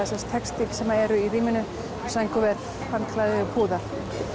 sem sagt textíl sem eru í rýminu sængurver handklæði og púðar